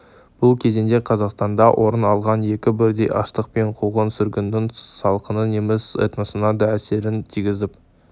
бұл кезеңде қазақстанда орын алған екі бірдей аштық пен қуғын-сүргіннің салқыны неміс этносына да әсерін тигізіп